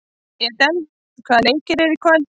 Edel, hvaða leikir eru í kvöld?